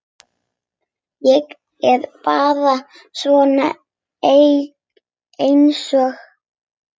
Ég er bara svona einsog.